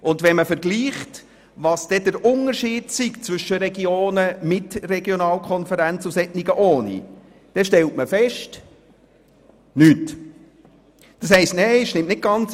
Zwischen den Regionen mit Regionalkonferenz und jenen ohne Regionalkonferenz gibt es kaum einen Unterschied.